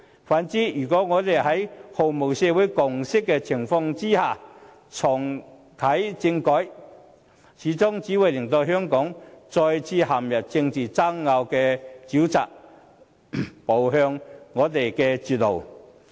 反之，如果我們在毫無社會共識的情況下重啟政改，最終只會令香港再次陷入政治爭拗的沼澤，步向絕路。